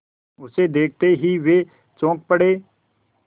उसे देखते ही वे चौंक पड़े